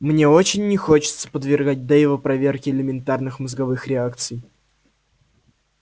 мне очень не хочется подвергать дейва проверке элементарных мозговых реакций